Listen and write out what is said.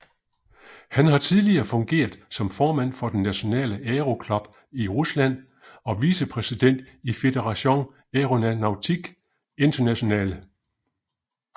Han har tidligere fungeret som formand for den Nationale Aero Club i Rusland og vicepræsident i Fédération Aéronautique Internationale